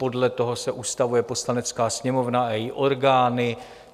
Podle toho se ustavuje Poslanecká sněmovna a její orgány.